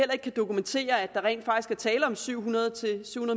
kan dokumentere at der rent faktisk er tale om syv hundrede